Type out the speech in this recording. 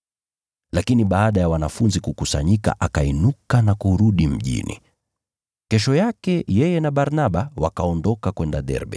Lakini baada ya wanafunzi kukusanyika akainuka na kurudi mjini. Kesho yake yeye na Barnaba wakaondoka kwenda Derbe.